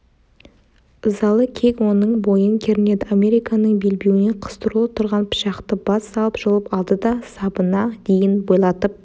ызалы кек оның бойын кернеді американның белбеуіне қыстырулы тұрған пышақты бас салып жұлып алды да сабына дейін бойлатып